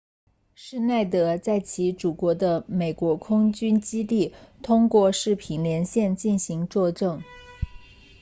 施耐德 schneider 在其祖国的美国空军 usaf 基地通过视频连线进行作证